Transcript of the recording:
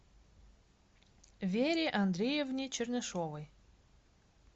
вере андреевне чернышовой